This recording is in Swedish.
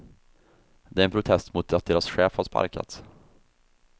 Det är en protest mot att deras chef har sparkats.